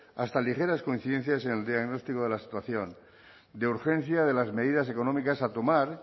hasta ligeras coincidencias en el diagnóstico de la situación de urgencia de las medidas económicas a tomar